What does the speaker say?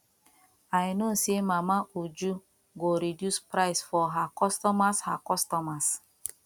i know say mama uju go reduce price for her customers her customers